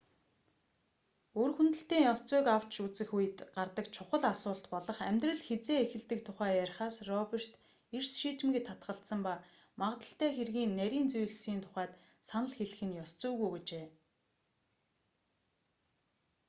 үр хөндөлтийн ёс зүйг авч үзэх үед гардаг чухал асуулт болох амьдрал хэзээ эхэлдэг тухай ярихаас роберт эрс шийдэмгий татгалзсан ба магадлалтай хэргийн нарийн зүйлсийн тухайд санал хэлэх нь ёс зүйгүй гэжээ